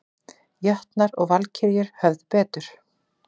Jötnar og Valkyrjur höfðu betur